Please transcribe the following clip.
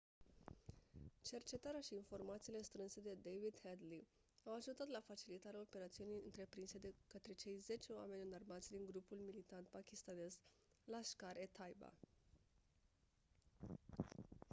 cercetarea și informațiile strânse de david headley au ajutat la facilitarea operațiunii întreprinse de către cei 10 oameni înarmați din grupul militant pakistanez laskhar-e-taiba